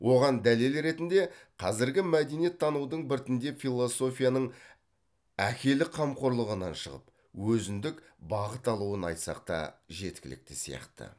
оған дәлел ретінде қазіргі мәдениеттанудың біртіндеп философияның әкелік қамқорлығынан шығып өзіндік бағыт алуын айтсақ та жеткілікті сияқты